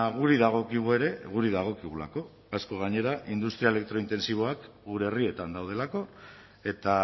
guri dagokigu ere guri dagokigulako asko gainera industria elektrointentsiboak gure herrietan daudelako eta